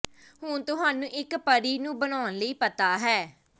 ਹੁਣ ਤੁਹਾਨੂੰ ਇੱਕ ਪਰੀ ਨੂੰ ਬਣਾਉਣ ਲਈ ਪਤਾ ਹੈ